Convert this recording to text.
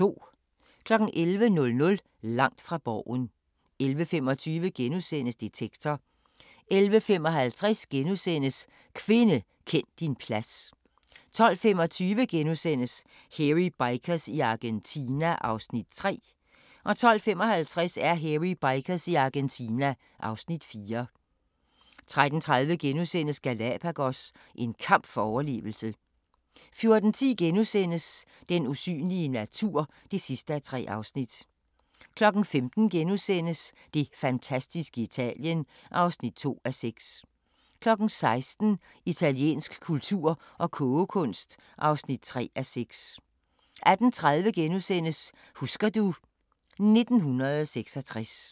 11:00: Langt fra Borgen 11:25: Detektor * 11:55: Kvinde, kend din plads * 12:25: Hairy Bikers i Argentina (Afs. 3)* 12:55: Hairy Bikers i Argentina (Afs. 4) 13:30: Galapagos – en kamp for overlevelse * 14:10: Den usynlige natur (3:3)* 15:00: Det fantastiske Italien (2:6)* 16:00: Italiensk kultur og kogekunst (3:6) 18:30: Husker du ... 1966 *